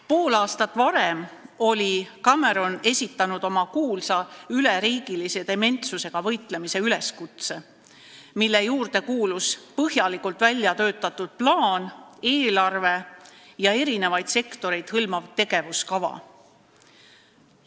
Pool aastat varem oli Cameron esitanud oma kuulsa üleriigilise dementsusega võitlemise üleskutse, mille juurde kuulus põhjalikult väljatöötatud plaan, eelarve ja eri sektoreid hõlmav tegevuskava.